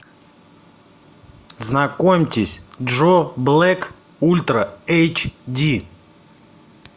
знакомьтесь джо блэк ультра эйч ди